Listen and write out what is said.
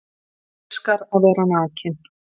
Elskar að vera nakinn